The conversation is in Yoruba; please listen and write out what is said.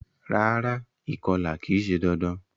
Rárá, ìkolà ki se dandan